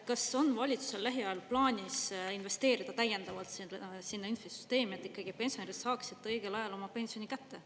Kas on valitsusel lähiajal plaanis investeerida täiendavalt sinna infosüsteemi, et ikkagi pensionärid saaksid õigel ajal oma pensioni kätte?